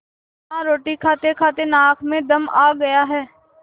हाँ रोटी खातेखाते नाक में दम आ गया है